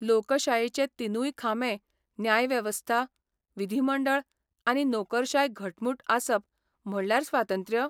लोकशायेचे तिनूय खांबे न्यायवेवस्था, विधिमंडळ आनी नोकरशाय घटमूट आसप म्हणल्यार स्वातंत्र्य?